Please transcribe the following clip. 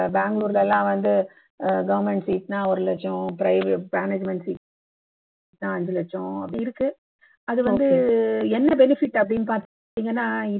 பெங்களூர்ல எல்லாம் வந்து அஹ் government seat னா ஒரு லட்சம் ப்ர management seat னா அஞ்சு லட்சம் அப்படி இருக்கு அது வந்து என்ன benefit அப்படின்னு பாத்தீங்கன்னா